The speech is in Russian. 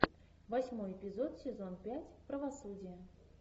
восьмой эпизод сезон пять правосудие